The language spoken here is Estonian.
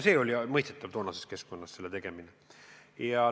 Oli mõistetav, et toonases keskkonnas nii otsustati.